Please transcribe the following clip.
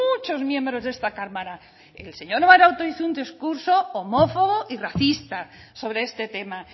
muchos miembros de esta cámara el señor maroto hizo un discurso homófobo y racista sobre este tema